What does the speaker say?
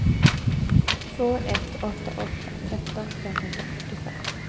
två ett åtta åtta tretton femhundrafyrtiofem